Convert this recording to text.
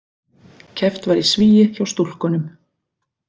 Keppt var í svigi hjá stúlkunum